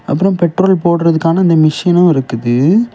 அப்புறம் பெட்ரோல் போடறதுக்கான இந்த மிஷினு இருக்குது.